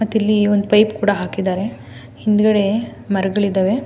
ಮತ್ತಿಲ್ಲಿ ಒಂದು ಪೈಪ್ ಕೂಡ ಹಾಕಿದ್ದಾರೆ ಹಿಂದ್ಗಡೆ ಮರಗಳಿದ್ದಾವೆ.